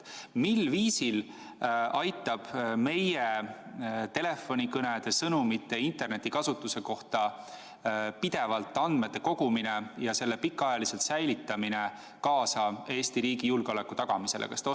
Mil viisil aitab meie telefonikõnede, sõnumite ja internetikasutuse kohta pidevalt andmete kogumine ja nende pikaajaline säilitamine kaasa Eesti riigi julgeoleku tagamisele?